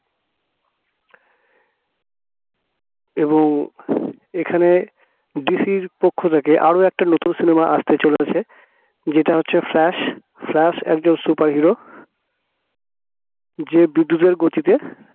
এবং এখানে DC পক্ষ থেকে আরো একটা নতুন cinema আসতে চলেছে যেটা হচ্ছে ফ্ল্যাশ ফ্ল্যাশ একজন superhero, যে বিদ্যুতের গতিতে